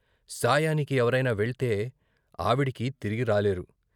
సాయానికి ఎవరైనా వెళ్తే ఆవిడికి తిరిగి రాలేరు.